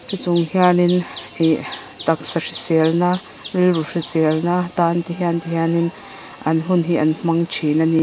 chung hianin ihhh taksa hriselna rilru hriselna tan te hian ti hianin an hun hi an hmang thin ani.